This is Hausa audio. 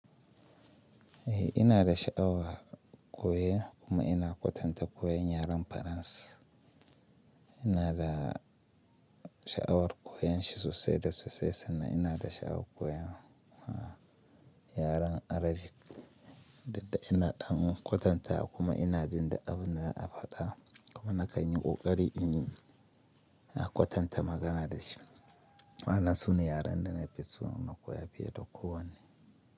Eh ina da sha'awar koya kuma ina kwatanta koyon yaren Faransa. Ina da sha'awar koyon shi sosai da sosai sannan ina da sha'awar koyan yaren Arabic, dadda ina dangon kwatanta kuma ina jin da abun da zan faɗa kuma na kai ni ƙoƙari in na kwatanta magana da shi. Na suna yaren da na fi so in koya fiye da kowane.